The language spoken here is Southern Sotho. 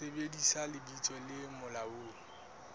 sebedisa lebitso le molaong le